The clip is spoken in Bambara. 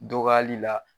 Dɔgɔyali la